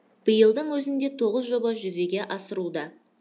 биылдың өзінде тоғыз жоба жүзеге асыруда